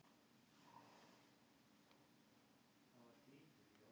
Hringrás vatnsins getur líka verið lokuð af því að opnar rásir til yfirborðs vantar.